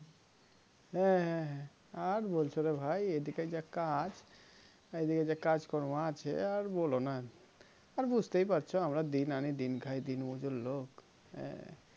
হ্যাঁ হ্যাঁ হ্যাঁ আর বলছো রে ভাই এইদিকে যা কাজ এইদিকে কাজকর্ম আছে আর বলোনা আর বুজতেই পারছো আমরা দিন আনি দিন খাই দিন মজুর লোক হ্যাঁ